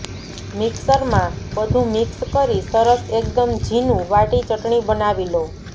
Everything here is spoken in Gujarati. મિક્સર માં બધું મિક્સ કરી સરસ એકદમ જીનું વાટી ચટણી બનાવી લો